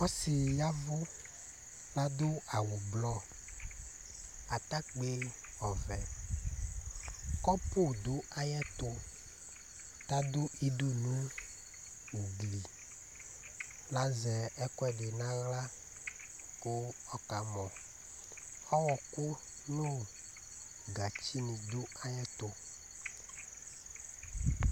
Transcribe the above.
Ɔsɩ ɖɩ ƴavʋ, ta aɖʋ awʋ ɛblɔ nʋ ataƙpi ɔvɛƘɔpʋ ɖʋ aƴɛtʋ, ta ɖʋ iɖu nʋ ugli, l'azɛ ɛƙʋɛɖɩ nʋ aɣla ƙʋ ɔka mɔƆƙʋ nʋ gatsi nɩ ɖʋ aƴɛtʋ